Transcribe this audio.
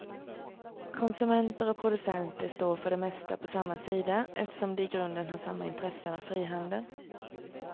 Konsumenter och producenter står för det mesta på samma sida, eftersom de i grunden har samma intressen av frihandel.